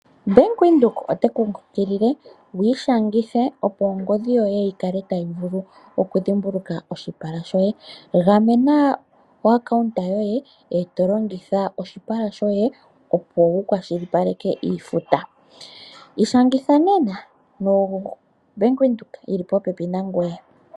Bank Windhoek ote ku kunkilile wu ishangithe opo ongodhi yoye yi kale tayi vulu okudhimbulukwa oshipala shoye. Gamena epandja lyoye e to longitha oshipala shoye opo wukwashilipaleke iifuta. Ishangitha nena noBank Windhoek yili popepi nangoye.